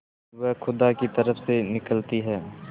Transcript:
वह खुदा की तरफ से निकलती है